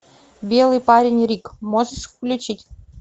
белый парень рик можешь включить